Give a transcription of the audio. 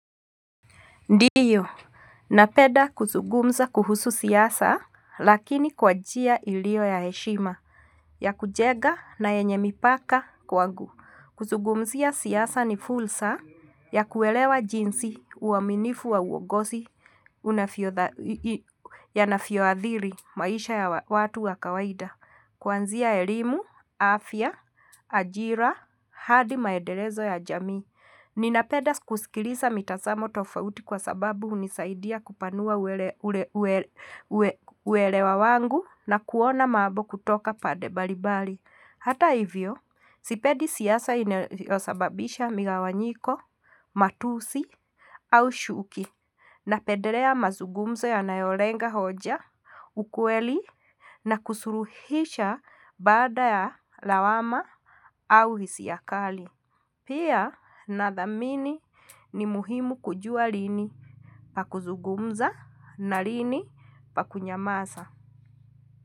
Ndiyo, napenda kuzugumza kuhusu siasa, lakini kwa njia iliyo ya heshima, ya kujenga na yenye mipaka kwangu. Kuzugumzia siasa ni fursa, ya kuelewa jinsi uaminifu wa uongozi, ya unavyoadhiri maisha ya watu wa kawaida. Kuanzia elimu, afya, ajira, hadi maendelezo ya jamii. Ninapenda kusikiliza mitazamo tofauti kwa sababu hunisaidia kupanua uelewa wangu na kuona mambo kutoka pande mbali mbali. Hata hivyo, sipendi siasa inyosababisha migawanyiko, matusi au chuki napedelea mazugumzo ya nayolenga hoja, ukweli na kusuluhisha baada ya lawama au hisia kali. Pia nathamini ni muhimu kujua lini pa kuzugumza na lini pa kunyamaza.